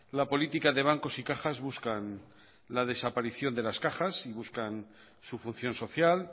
la política de bancos y cajas buscan la desaparición de las cajas y buscan su función social